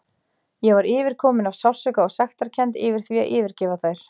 Ég var yfirkomin af sársauka og sektarkennd yfir því að yfirgefa þær.